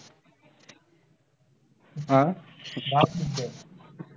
आह